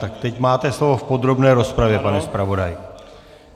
Tak teď máte slovo v podrobné rozpravě, pane zpravodaji.